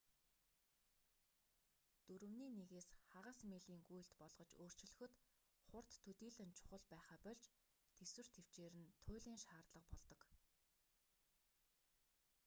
дөрөвний нэгээс хагас милийн гүйлт болгож өөрчлөхөд хурд төдийлөн чухал байхаа больж тэсвэр тэвчээр нь туйлын шаардлага болдог